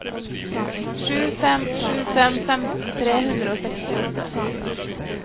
sju fem sju fem femten tre hundre og sekstiåtte